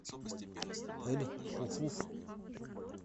эль хуфуф